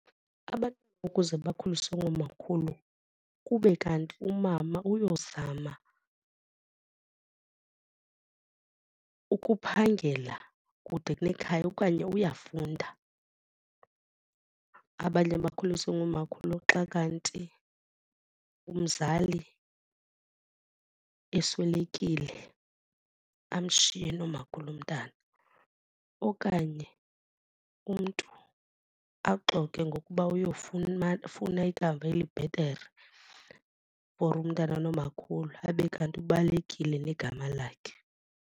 Abantu ukuze bakhuliswe ngomakhulu kube kanti umama uyozama ukuphangela kude nekhaya okanye uyafunda, abanye bakhuliswe ngumakhulu xa kanti umzali eswelekile amshiye nomakhulu umntana. Okanye umntu axoke ngokuba oyofuna ikamva elibhetere for umntana nomakhulu abe kanti ubalekile negama lakhe.